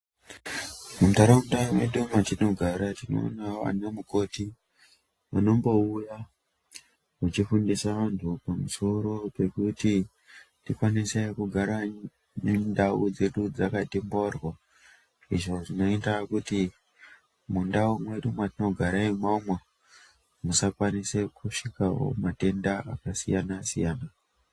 Muntaraunda mwedu mwatinogara tinoonawo ana mukoti vanombouya vachifundise antu pamusoro pekuti tikwanise kugara nendau dzedu dzakaite mboryo izvo zvinoita kuti mundau mwedu mwatinigara imomo musakwanise kusvikawo matenda akasiyana- siyana .